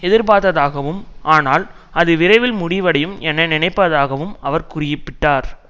எதிர்பார்த்ததாகவும் ஆனால் அது விரைவில் முடிவடையும் என நினைப்பதாகவும் அவர் குறிப்பிட்டார்